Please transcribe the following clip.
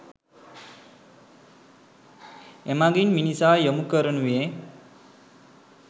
එමගින් මිනිසා යොමු කරනුයේ